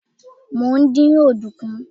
mo n din ọdunkun